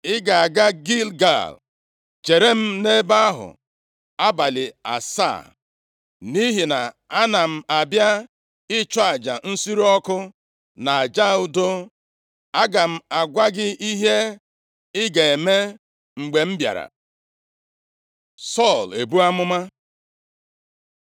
“Ị ga-aga Gilgal + 10:8 Ebe mbụ e wuru ụlọnsọ Chineke nʼime ala Kenan bụ nʼobodo Gilgal. \+xt Jos 4:19-24\+xt* chere m nʼebe ahụ abalị asaa, nʼihi na ana m abịa ịchụ aja nsure ọkụ na aja udo. Aga m agwa gị ihe ị ga-eme mgbe m bịara.” Sọl ebuo amụma